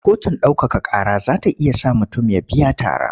Kotun ɗaukaka ƙara za ta iya sa mutum ya biya tara.